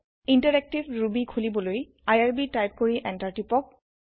interactive Ruby খুলিবলৈ IRB type কৰি enter টিপক